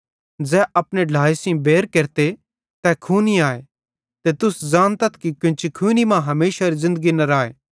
ज़ै अपने ढ्लाए सेइं बैर केरते तै खूनी आए ते तुस ज़ानतथ कि कोन्ची खूनी मां हमेशारी ज़िन्दगी न राए